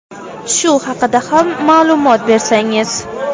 Shu haqida ham ma’lumot bersangiz.